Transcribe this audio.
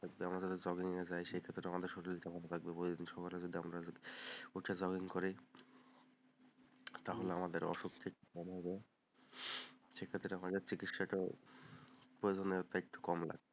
আমরা যদি jogging এ যাই সেক্ষেত্রে শরীরটা আমাদের ভালো থাকবে, সকালে উঠে যদি আমরা jogging করি তাহলে আমাদের অসুখ ঠিক কমে যাবে, সেক্ষেত্রে আমাদের চিকিৎসাটাও প্রয়োজনে কম লাগবে,